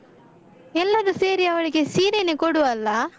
ಎಲ್ಲರು ಸೇರಿ ಅವಳಿಗೆ ಸೀರೆನೆ ಕೊಡುವಲ್ಲಾ?